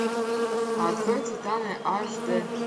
открой титаны аш д